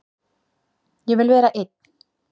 Ég vil vera einn.